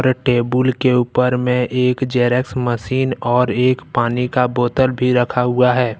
Table के ऊपर में एक जेरॉक्स मशीन और एक पानी का बोतल भी रखा हुआ है।